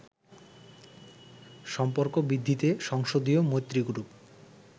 সম্পর্ক বৃদ্ধিতে সংসদীয় মৈত্রী গ্রুপ